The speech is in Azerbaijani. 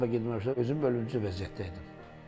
Müharibə getməmişdən özüm ölümcül vəziyyətdə idim.